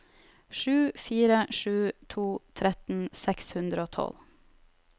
sju fire sju to tretten seks hundre og tolv